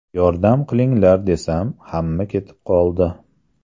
Yordam qilinglar desam, hamma ketib qoldi.